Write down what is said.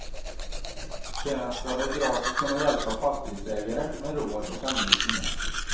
Sedan ska de gratis kunna hjälpa fastighetsägare med råd och anvisningar.